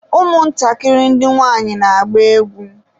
ụmụ ntakịrị ndị nwanyị na-agba egwu.